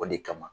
O de kama